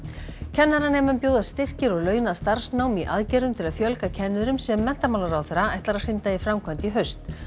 kennaranemum bjóðast styrkir og launað starfsnám í aðgerðum til að fjölga kennurum sem menntamálaráðherra ætlar að hrinda í framkvæmd í haust